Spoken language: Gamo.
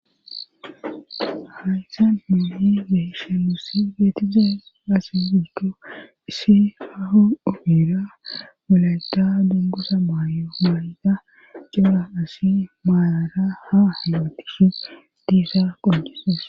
Ahaaytha mayi geshemusi geetize asi giko issi aho ubira mulata dungusa maayo maa7yta cuura asi maalara ha hewetishu diisa qojises